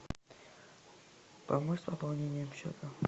помочь с пополнением счета